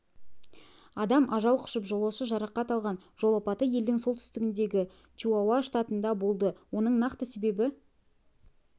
адам ажал құшып жолаушы жарақат алған жол апаты елдің солтүстігіндегі чиуауа штатында болды оның нақты себебі